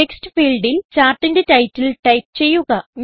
text ഫീൽഡിൽ ചാർട്ടിന്റെ titleടൈപ്പ് ചെയ്യുക